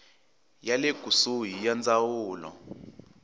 ya le kusuhi ya ndzawulo